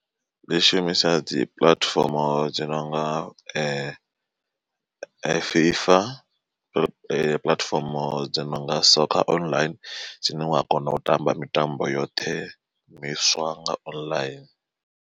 Ndi shumisa dzi puḽatifomo dzo nonga FIFA puḽatifomo dzo nonga soccer online dzine wa kona u tamba mitambo yoṱhe miswa nga online.